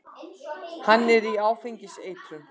Hvað er áfengiseitrun?